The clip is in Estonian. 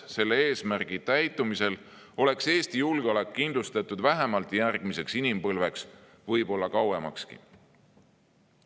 Selle eesmärgi täitumisel oleks Eesti julgeolek kindlustatud vähemalt järgmiseks inimpõlveks, võib-olla kauemakski.